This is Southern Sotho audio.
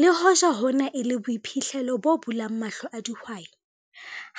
Le hoja hona e le boiphihlelo bo bulang mahlo a dihwai,